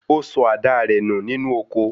Ó sọ àdáa rẹ̀ nù nínú oko.